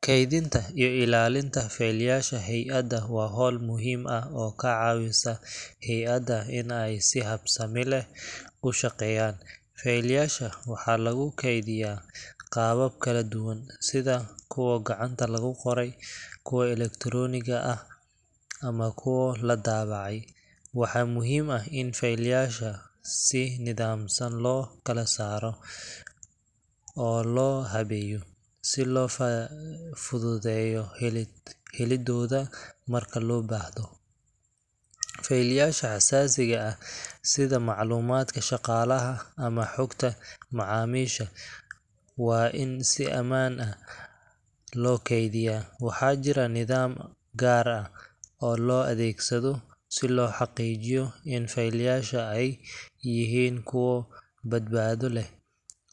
Kaydinta iyo ilaalinta faylyaasha hay’ada waa hawl muhiim ah oo ka caawisa hay’ada inay si habsami leh u shaqeeyaan. Faylasha waxaa lagu kaydiyaa qaabab kala duwan, sida kuwa gacanta lagu qoro, kuwa elektaroonigga ah ama kuwa la daabacay. Waxaa muhiim ah in faylyasha si nidaamsan loo kala saaro oo loo habeeyo, si loo fududeeyo helidooda marka loo baahdo. Faylyasha xasaasiga ah, sida macluumaadka shaqaalaha ama xogta macaamiisha, waa in si ammaan ah loo kaydiyaa. Waxaa jira nidaam gaar ah oo loo adeegsado si loo xaqiijiyo in faylasha ay yihiin kuwo badbaado leh,